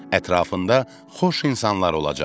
Ətrafında xoş insanlar olacaq.